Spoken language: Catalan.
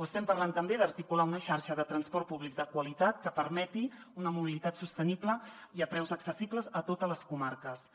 o estem parlant també d’articular una xarxa de transport públic de qualitat que permeti una mobilitat sostenible i a preus accessibles a totes les comarques